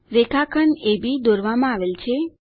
રેખાખંડ અબ દોરવામાં આવેલ છે